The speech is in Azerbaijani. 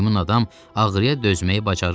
Meymun adam ağrıya dözməyi bacarırdı.